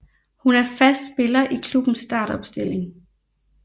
Hun er fast spiller i klubbens startopstilling